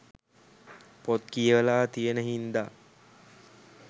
පොත් කියවලා තියෙන හින්දා